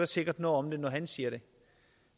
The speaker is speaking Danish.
sikkert noget om det når han siger det